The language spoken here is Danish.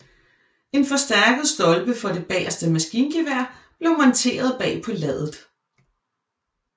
En forstærket stolpe for det bageste maskingevær blev monteret bag på laddet